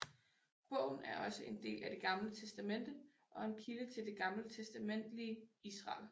Bogen er også en del af Det Gamle Testamente og en kilde til det gammeltestamentlige Israel